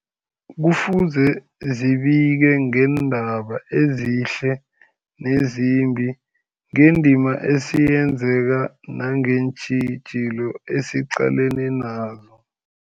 Kufuze zibike ngeendaba ezihle nezimbi, ngendima esiyenzako nangeentjhijilo esiqalene nazo.